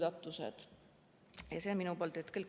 See on praegu minu poolt kõik.